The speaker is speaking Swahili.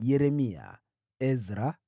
Yeremia, Ezra,